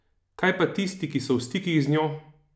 Kaj pa tisti, ki so v stikih z njo?